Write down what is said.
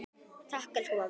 Takk, elsku amma.